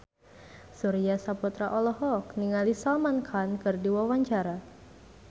Surya Saputra olohok ningali Salman Khan keur diwawancara